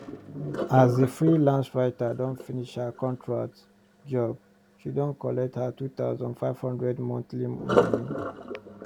as the freelance writer don finish her contract job she don collect her two thousand five hundred monthly money